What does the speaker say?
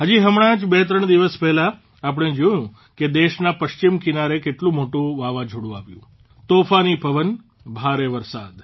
હજી હમણાં જ બે ત્રણ દિવસ પહેલાં આપણે જોયું કે દેશના પશ્ચિમ કિનારે કેટલું મોટું વાવાઝોડું આવ્યું તોફાની પવન ભારે વરસાદ